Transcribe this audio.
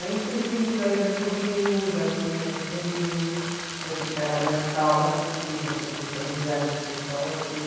Aí fui diminuindo a ida para o Rio, já não ia mais para o Rio, já ficava mais calma aqui, já tinha feito amizade com o pessoal aqui.